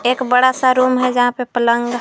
एक बड़ा सा रूम जहा पे पलंग ह--